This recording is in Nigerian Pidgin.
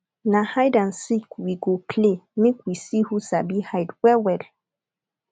na hide and seek we go play make we see who sabi hide wellwell